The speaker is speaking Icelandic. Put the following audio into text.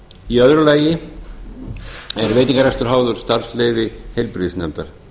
í öðru lagi er veitingarekstur áður starfsleyfi heilbrigðisnefndar